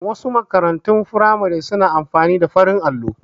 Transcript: Wasu makarantun firamare su na amfani da farin allo